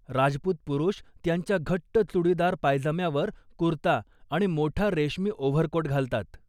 राजपूत पुरुष त्यांच्या घट्ट चुडीदार पायजम्यावर, कुर्ता आणि मोठा रेशमी ओव्हरकोट घालतात.